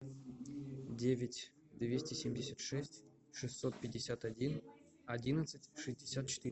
девять двести семьдесят шесть шестьсот пятьдесят один одиннадцать шестьдесят четыре